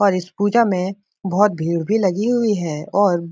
और इस पूजा में बोहोत भीड़ भी लगी हुई है और --